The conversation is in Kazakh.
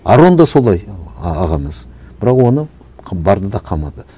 арон да солай ағамыз бірақ оны барды да қамады